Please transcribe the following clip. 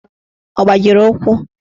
Ọ gbajiri ụkwụ?